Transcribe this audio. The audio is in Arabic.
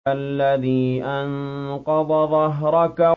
الَّذِي أَنقَضَ ظَهْرَكَ